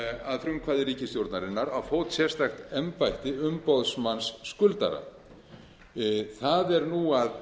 að frumkvæði ríkisstjórnarinnar á fót sérstakt embætti umboðsmanns skuldara það er nú að